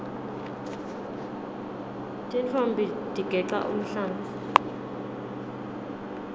tintfombi tigeca umhlanga